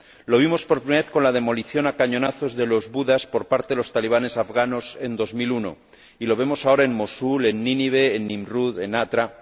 Lo vimos, por primera vez, con la demolición a cañonazos de los Budas por parte de los talibanes afganos en 2001, y lo vemos ahora en Mosul, en Nínive, en Nimrud, en Hatra.